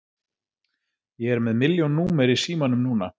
Ég er með milljón númer í símanum núna.